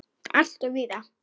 Alltof víða!